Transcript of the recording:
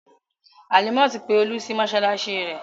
Halimat pe Olú sí mọ́ṣáláṣí rẹ̀.